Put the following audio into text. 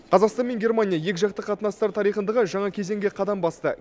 қазақстан мен германия екіжақты қатынастар тарихындағы жаңа кезеңге қадам басты